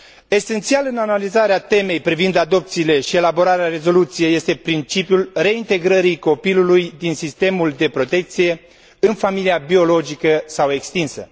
Esențial în analizarea temei privind adopțiile și elaborarea rezoluției este principiul reintegrării copilului din sistemul de protecție în familia biologică sau extinsă.